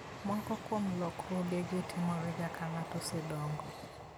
Moko kuom lokruogegi timorega ka ng'ato osedongo.